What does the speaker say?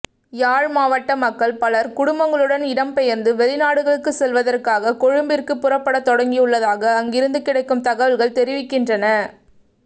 யாழ் மாவட்ட மக்கள் பலர் குடும்பங்களுடன் இடம்பெயர்ந்து வெளிநாடுகளுக்கு செல்வதற்காக கொழும்பிற்கு புறப்படத் தொடங்கியுள்ளதாக அங்கிருந்து கிடைக்கும் தகவல்கள் தெரிவிக்கின்றன